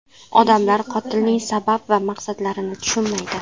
Odamlar qotilning sabab va maqsadlarini tushunmaydi.